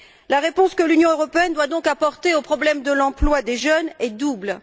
La réponse que l'Union européenne doit, donc, apporter au problème de l'emploi des jeunes est double.